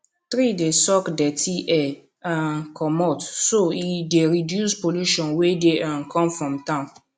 tree dey suck dirty air um comot so e dey reduce pollution wey dey um come from town